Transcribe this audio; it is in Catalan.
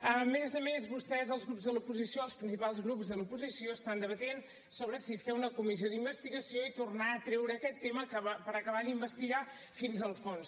a més a més vostès els grups de l’oposició els principals grups de l’oposició estan debatent sobre si fer una comissió d’investigació i tornar a treure aquest tema per acabar d’investigar fins al fons